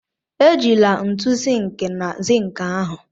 Ejila ntu sink na zink ahụ!